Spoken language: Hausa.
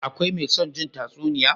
Akwai me son jin tatsuniya?